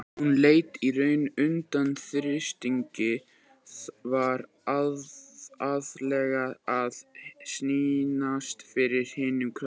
Hún lét í raun undan þrýstingi, var aðallega að sýnast fyrir hinum krökkunum.